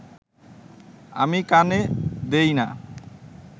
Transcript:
আমি কানে দিই না